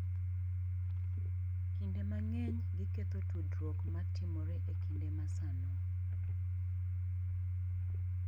Kinde mang’eny, giketho tudruok ma timore e kinde ma sano.